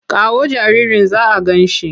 Kawo jaririn za a gan shi!